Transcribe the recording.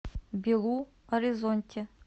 белу оризонти